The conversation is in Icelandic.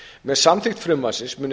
með samþykkt frumvarpsins munu ekki